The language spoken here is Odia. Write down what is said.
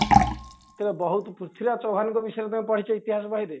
ତେବେ ବହୁତ ପୃଥୀରାଜ ଚୌହାନଙ୍କ ବିଷୟରେ ତମେ ପଢିଛ ଇତିହାସ ବହିରେ